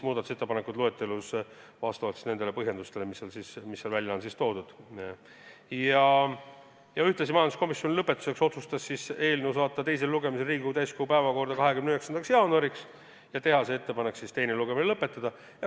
Lõpetuseks otsustas majanduskomisjon saata eelnõu teisele lugemisele Riigikogu täiskogu päevakorda 29. jaanuariks ja teha ettepanek teine lugemine lõpetada.